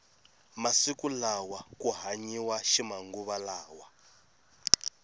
masiku lawa ku hanyiwa ximanguva lawa